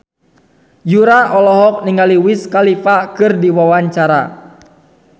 Yura olohok ningali Wiz Khalifa keur diwawancara